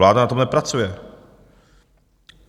Vláda na tom nepracuje.